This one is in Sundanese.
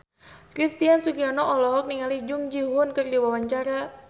Christian Sugiono olohok ningali Jung Ji Hoon keur diwawancara